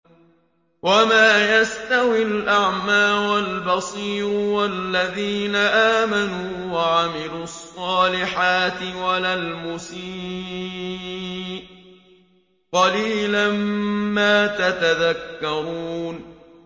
وَمَا يَسْتَوِي الْأَعْمَىٰ وَالْبَصِيرُ وَالَّذِينَ آمَنُوا وَعَمِلُوا الصَّالِحَاتِ وَلَا الْمُسِيءُ ۚ قَلِيلًا مَّا تَتَذَكَّرُونَ